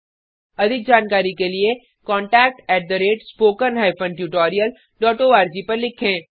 अधिक जानकारी के लिए contactspoken tutorialorg पर लिखें